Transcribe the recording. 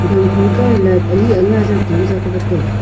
gakho toh light ani aga Jak tai vatai ya.